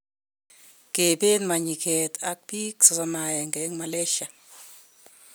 Kebeet mayinkeet ak biik 31 en Malaysia